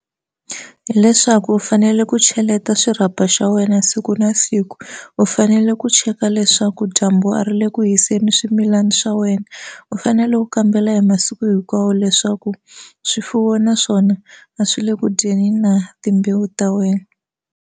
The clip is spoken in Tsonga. Hileswaku u fanele ku cheleta xirhapa xa wena siku na siku u fanele ku cheka leswaku dyambu a ri le ku haseni swimilana swa wena u fanele u kambela hi masiku hinkwawo leswaku swifuwo na swona a swi le ku dyeni na timbewu ta wena.